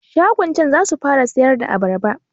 Shagon can zasu fara siyarda abarba